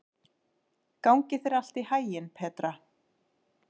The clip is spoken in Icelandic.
Gangi þér allt í haginn, Petra.